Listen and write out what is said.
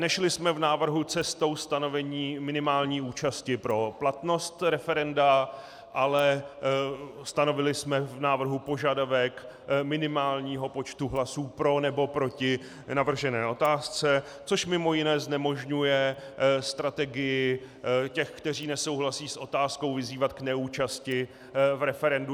Nešli jsme v návrhu cestou stanovení minimální účasti pro platnost referenda, ale stanovili jsme v návrhu požadavek minimálního počtu hlasů pro nebo proti navržené otázce, což mimo jiné znemožňuje strategii těch, kteří nesouhlasí s otázkou, vyzývat k neúčasti v referendu.